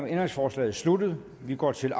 ændringsforslaget sluttet og vi går til